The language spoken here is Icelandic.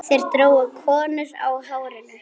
Þeir drógu konur á hárinu.